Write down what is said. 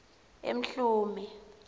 emhlume